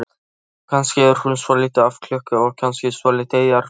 Kannski er hún svolítið af klukku og kannski svolítið jarðbundin.